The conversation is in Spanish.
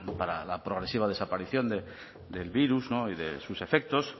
para la progresiva desaparición del virus y de sus efectos